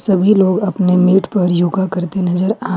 सभी लोग अपने मैट पर योगा करते नजर आ--